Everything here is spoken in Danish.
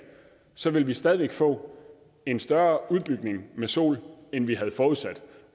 så ville vi stadig væk få en større udbygning af sol end vi havde forudsat